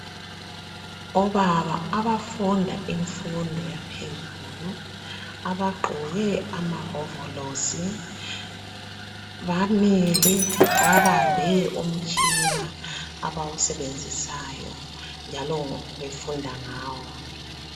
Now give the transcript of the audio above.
Obaba abafunda imfundo yaphezulu abaqgoke amahovolosi bamile babambe umutshina abawusebenzisayo njalo befunda ngawo